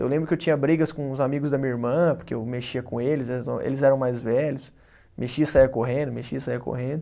Eu lembro que eu tinha brigas com os amigos da minha irmã, porque eu mexia com eles, eles não, eles eram mais velhos, mexia e saía correndo, mexia e saía correndo.